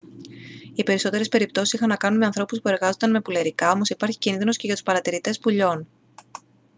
οι περισσότερες περιπτώσεις είχαν να κάνουν με ανθρώπους που εργάζονταν με πουλερικά όμως υπάρχει κίνδυνος και για τους παρατηρητές πουλιών